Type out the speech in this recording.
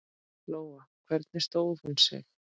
Lóa: Hvernig stóð hún sig?